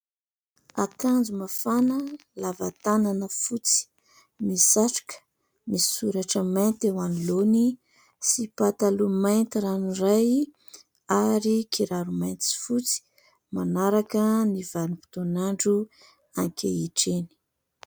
Akanjo mafana lava tanana fotsy, misy satroka, misy soratra mainty eo anoloany sy pataloha mainty ranoray ary kiraro mainty sy fotsy, manaraka ny vanim-potoan'andro ankehitriny.